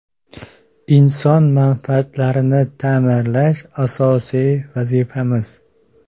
Inson manfaatlarini ta’minlash – asosiy vazifamiz!